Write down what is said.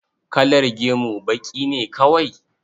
Kalar gemu baƙi ne kawai?